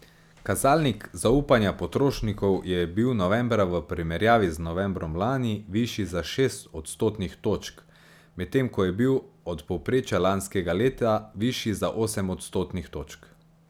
Kazalnik zaupanja potrošnikov je bil novembra v primerjavi z novembrom lani višji za šest odstotnih točk, medtem ko je bil od povprečja lanskega leta višji za osem odstotnih točk.